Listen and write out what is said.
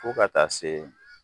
Fo ka taa se